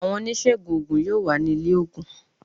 Àwọn oníṣègùn oògùn yóò wà ní ilé oògùn